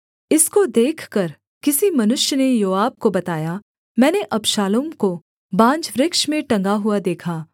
इसको देखकर किसी मनुष्य ने योआब को बताया मैंने अबशालोम को बांज वृक्ष में टँगा हुआ देखा